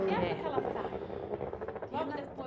Que época ela sai? Logo